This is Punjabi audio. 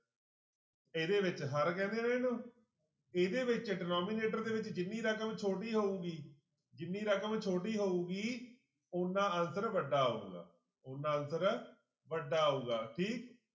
ਇਹਦੇ ਵਿੱਚ ਹਰਿ ਕਹਿੰਦੇ ਨੇ ਇਹਨੂੰ ਇਹਦੇ ਵਿੱਚ denominator ਦੇ ਵਿੱਚ ਜਿੰਨੀ ਰਕਮ ਛੋਟੀ ਹੋਊਗੀ ਜਿੰਨੀ ਰਕਮ ਛੋਟੀ ਹੋਊਗੀ ਓਨਾ answer ਵੱਡਾ ਆਊਗਾ, ਓਨਾ answer ਵੱਡਾ ਆਊਗਾ ਠੀਕ।